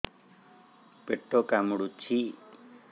ପେଟ କାମୁଡୁଛି